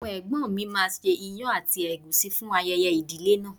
Àwọn ẹ̀gbọ́n mi máa ṣe ìyàn àti ègúsí fún ayẹyẹ ìdílé náà.